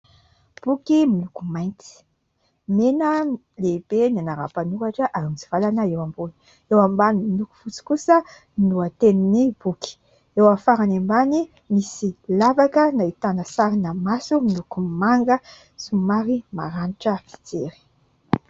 Boky miloko mainty. Mena lehibe ny anaran'ny mpanoratra ary mitsivalana eo ambony, eo ambany miloko fotsy kosa ny lohatenin'ny boky. Eo amin'ny farany ambany misy lavaka nahitana sarina maso miloko manga somary maranitra fijery.